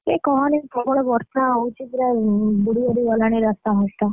ହେ କହନାରେ ପ୍ରବଳ ବର୍ଷା ହଉଛି ପୁରା ବୁଡିବାଡି ଗଲାଣି ରାସ୍ତାଘାଟ।